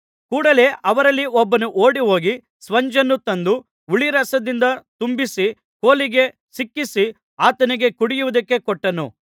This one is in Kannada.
ಕೂಡಲೆ ಅವರಲ್ಲಿ ಒಬ್ಬನು ಓಡಿಹೋಗಿ ಸ್ಪಂಜನ್ನು ತಂದು ಹುಳಿರಸದಿಂದ ತುಂಬಿಸಿ ಕೋಲಿಗೆ ಸಿಕ್ಕಿಸಿ ಆತನಿಗೆ ಕುಡಿಯುವುದಕ್ಕೆ ಕೊಟ್ಟನು